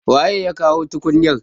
waye ya kawo tukunya?